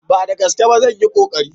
Ba da gaske ba, zan yi konkari.